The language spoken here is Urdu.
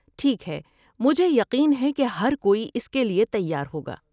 ٹھیک ہے، مجھے یقین ہے کہ ہر کوئی اس کے لیے تیار ہوگا۔